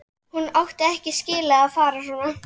Hún átti ekki skilið að fara svona.